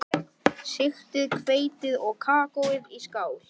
Sigtið hveitið og kakóið í skál.